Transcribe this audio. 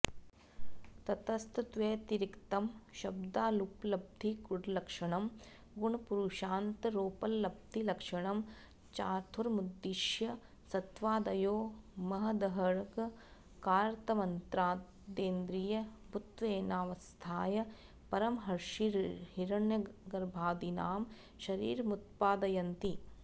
ततस्तद्व्यतिरिक्तं शब्दाद्युपलब्धिगुणलक्षणं गुणपुरुषान्तरोपलब्धिलक्षणं चार्थमुद्दिश्य सत्त्वादयो महदहङ्कारतन्मात्रेन्द्रियभूतत्वेनावस्थाय परमर्षिहिरण्यगर्भादीनां शरीरमुत्पादयन्ति